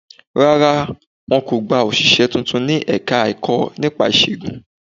Rárá, wọn kò gba òṣìṣẹ́ tuntun ní Ẹ̀ka-ẹ̀kọ́ nípa ìṣègùn